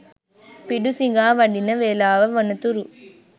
පිඩුසිඟා වඩින වේලාව වනතුරු